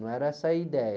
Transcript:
Não era essa a ideia.